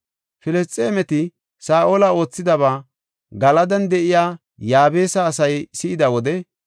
Filisxeemeti Saa7ola oothidaba Galadan de7iya Yaabesa asay si7ida wode,